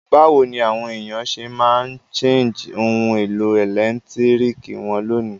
Bàwoni àwon èyàn se ma n charge oun èlò ẹ̀lẹ́ntiriki won lónìí?